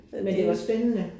Men det var spændende